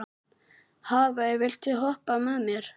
Hafey, viltu hoppa með mér?